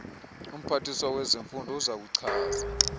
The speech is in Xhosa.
umphathiswa wezemfundo uzakuchaza